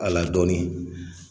Al'a dɔnnin